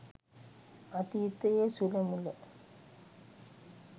අතීතයේ සුළ මුළ